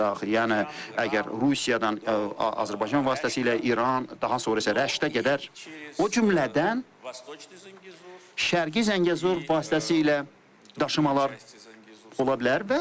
Yəni əgər Rusiyadan Azərbaycan vasitəsilə İran, daha sonra isə Rəşdə qədər, o cümlədən Şərqi Zəngəzur vasitəsilə daşımalar ola bilər.